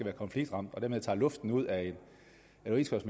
er konfliktramt og dermed tager luften ud af